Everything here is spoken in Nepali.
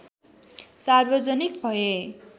सार्वजनिक भए